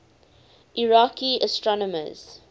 iraqi astronomers